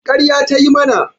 Ƙarya ta yi mana